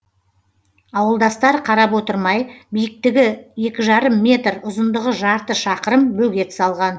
ауылдастар қарап отырмай биіктігі екі жарым метр ұзындығы жарты шақырым бөгет салған